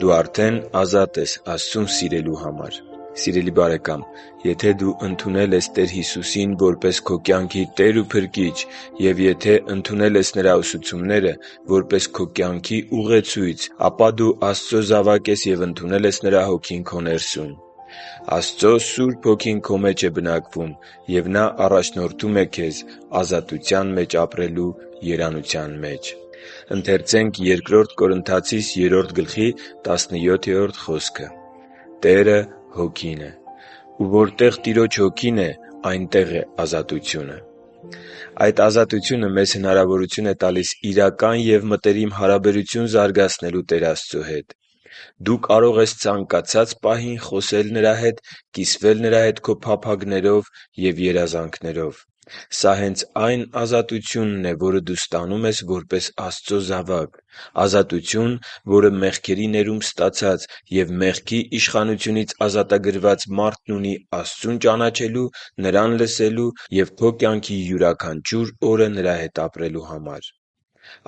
Դու արդեն ազատ ես... Աստծուն սիրելու համար Սիրելի՛ բարեկամ, եթե դու ընդունել ես Տեր Հիսուսին որպես քո կյանքի Տեր ու Փրկիչ և եթե ընդունել ես Նրա ուսուցումները, որպես քո կյանքի ուղեցույց, ապա դու Աստծո զավակ ես և ընդունել ես Նրա Հոգին քո ներսում։ Աստծո Սուրբ Հոգին քո մեջ է բնակվում և Նա առաջնորդում է քեզ ազատության մեջ ապրելու երանության մեջ: «Տերը Հոգի է, ու որտեղ Տիրոջ Հոգին է, այնտեղ է ազատությունը» (Բ Կորնթացիս 3.17)։ Այդ ազատությունը մեզ հնարավորություն է տալիս իրական և մտերիմ հարաբերություն զարգացնելու Տեր Աստծո հետ: Դու կարող ես ցանկացած պահի խոսել Նրա հետ, կիսվել Նրա հետ քո փափագներով և երազանքներով: Սա հենց այն ազատությունն է, որը դու ստանում ես որպես Աստծո զավակ… Ազատություն, որը մեղքերի ներում ստացած և մեղքի իշխանությունից ազատագրված մարդն ունի Աստծուն ճանաչելու, Նրան սիրելու, և քո կյանքի յուրաքանչյուր օրը Նրա հետ ապրելու համար։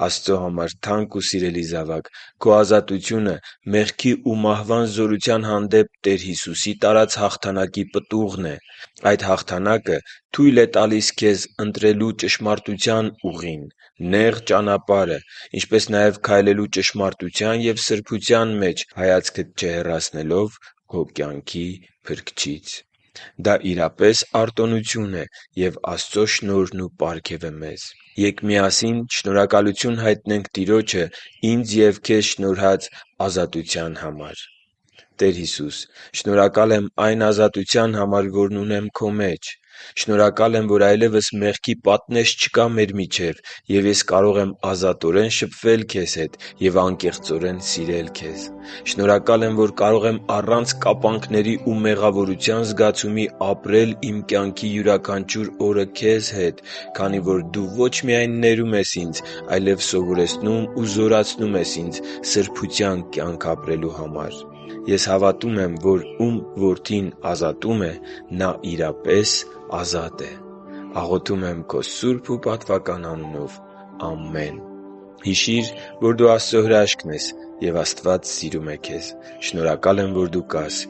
Աստծո համար թանկ ու սիրելի՛ զավակ, քո ազատությունը մեղքի ու մահվան զորության հանդեպ Տեր Հիսուսի տարած հաղթանակի պտուղն է: Այդ հաղթանակը թույլ է տալիս քեզ ընտրել ճշմարտության ուղին՝ նեղ ճանապարհը, ինչպես նաև քայլել ճշմարտության և սրբության մեջ՝ հայացքդ չհեռացնելով քո կյանքի Փրկչից: Դա, իրապես արտոնություն է և Աստծո շնորհն ու պարգևը մեզ: Ե՛կ միասին շնորհակալություն հայտնենք Տիրոջը ինձ և քեզ շնորհած ազատության համար. «Տեր Հիսո՛ւս, շնորհակալ եմ այն ազատության համար, որ ունեմ Քո մեջ: Շնորհակալ եմ, որ այլևս մեղքի պատնեշ չկա մեր միջև, և ես կարող եմ ազատորեն շփվել Քեզ հետ և անկեղծորեն սիրել Քեզ։ Շնորհակալ եմ, որ կարող եմ առանց կապանքների ու մեղավորության զգացումի ապրել իմ կյանքի յուրաքանչյուր օրը Քեզ հետ, քանի որ Դու ոչ միայն ներում ես ինձ, այլև սովորեցնում ու զորացնում ինձ սրբության կյանք ապրելու Համար: Ես հավատում եմ, որ ում Որդին ազատում է, նա իրապես ազատ է: Աղոթում եմ Քո սուրբ ու պատվական անունով։ Ամե՛ն»: Հիշի՛ր, որ դու Աստծո հրաշքն ես, և Աստված սիրում է քեզ։ Շնորհակալ եմ, որ դու կա՛ս